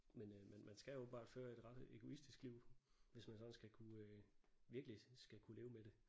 Men øh men man skal åbenbart føre et ret egoistisk liv hvis man sådan skal kunne øh virkelig skal kunne leve med det